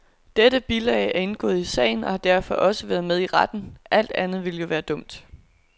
Dette bilag er indgået i sagen og har derfor også været med i retten, alt andet ville jo være dumt.